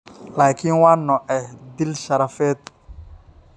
Laakiin waa noocee 'dil sharafeed'?